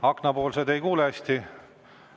Aknapoolsed ei kuule hästi.